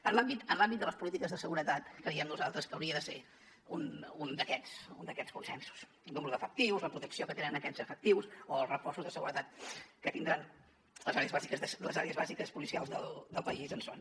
en l’àmbit de les polítiques de seguretat creiem nosaltres que hauria de ser un d’aquests consensos el número d’efectius la protecció que tenen aquests efectius o els reforços de seguretat que tindran les àrees bàsiques policials del país on són